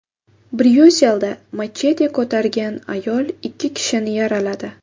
Bryusselda machete ko‘targan ayol ikki kishini yaraladi.